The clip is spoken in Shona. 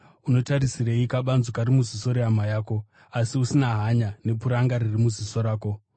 “Unotarisirei kabanzu kari muziso rehama yako, asi usina hanya nepuranga riri muziso rako?